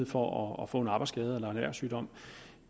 for at få en arbejdsskade eller en erhvervssygdom